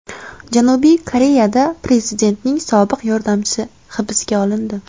Janubiy Koreyada prezidentning sobiq yordamchisi hibsga olindi.